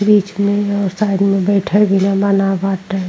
बीच में और साइड में बइठल बिधा मना बाटे।